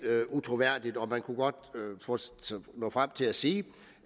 utroværdigt man kunne godt nå frem til at sige